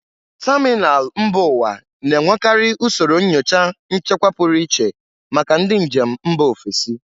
Tamịnal mba ụwa na-enwekarị usoro nyocha nchekwa pụrụ iche maka ndị njem mba ofesi